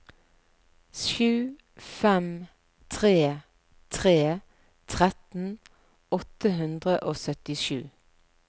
sju fem tre tre tretten åtte hundre og syttisju